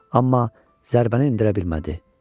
Amma zərbəni endirə bilmədi.